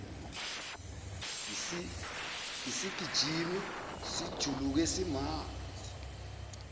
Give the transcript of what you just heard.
isigijimi sijuluke simanzi